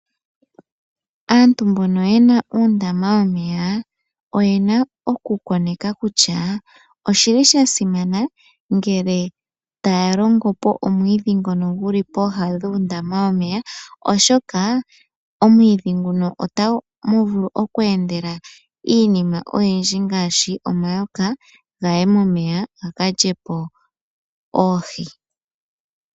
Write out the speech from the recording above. Aantu mbono yena uundama womeya, oyena oku koneka kutya oshili sha simana ngele taya longo po omwiidhi ngono guli pooha dhuundama womeya, oshoka omwiidhi nguno otamu vulu oku endela iinima oyindji, ngaashi omayoka gaye momeya ga ka lye po oohi.